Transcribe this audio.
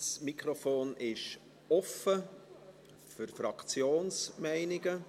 Das Mikrofon ist offen für Fraktionsmeinungen.